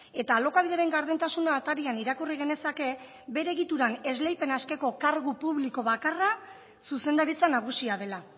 eta alokabideren gardentasuna atarian irakurri genezake bere egituran esleipena eskeko kargu publiko bakarra zuzendaritza nagusia dela